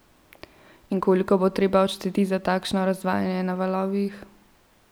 In koliko bo treba odšteti za takšno razvajanje na valovih?